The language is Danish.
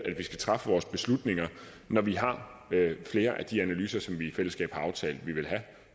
vi skal træffe vores beslutninger når vi har flere af de analyser som vi i fællesskab har aftalt vi vil have